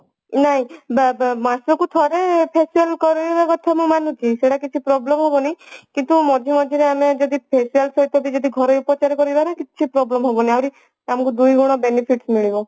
ନାଇଁ ବ ବ ମାସକୁ ଥରେ facial କରିବା କଥା ମୁଁ ମାନୁଛି ସେଟା କିଛି problem ହେବନି କିନ୍ତୁ ମଝିରେ ମଝିରେ ଆମେ ଯଦି facial ସହିତ ଯଦି ଘରୋଇ ଉପଚାର କରିବାରେ କିଛି ପ୍ରୋବ୍ଲେମ ହେବନି ଆହୁରି ତମକୁ ଦୁଇଗୁଣ benefit ମିଳିବ